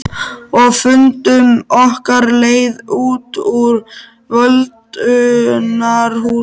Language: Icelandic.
Og fundum okkar leið út úr völundarhúsinu.